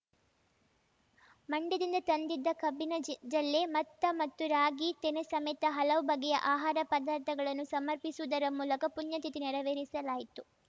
ಮಂಡ್ಯದಿಂದ ತಂದಿದ್ದ ಕಬ್ಬಿನ ಜಲ್ ಜಲ್ಲೆ ಮತ್ತ ಮತ್ತು ರಾಗಿ ತೆನೆ ಸಮೇತ ಹಲವು ಬಗೆಯ ಆಹಾರ ಪದಾರ್ಥಗಳನ್ನು ಸಮರ್ಪಿಸುವುದರ ಮೂಲಕ ಪುಣ್ಯತಿಥಿ ನೇರವೇರಿಸಲಾಯಿತು